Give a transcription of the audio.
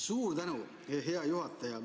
Suur tänu, hea juhataja!